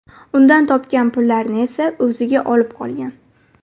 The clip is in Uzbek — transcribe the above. Undan topgan pullarni esa o‘ziga olib qolgan.